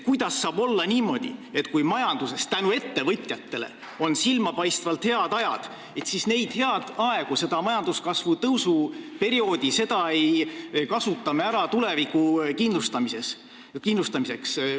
Kuidas saab olla niimoodi, et kui majanduses tänu ettevõtjatele on silmapaistvalt head ajad, siis neid häid aegu, seda majandustõusu perioodi me ei kasuta ära tuleviku kindlustamiseks?